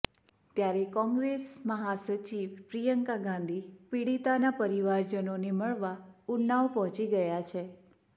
ત્યારે કોંગ્રેસ મહાસચિવ પ્રિયંકા ગાંધી પીડિતાના પરિવારજનોને મળવા ઉન્નાવ પહોંચી ગયા છે